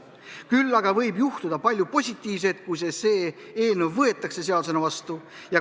Küll aga võib juhtuda palju positiivset, kui see eelnõu seadusena vastu võetakse.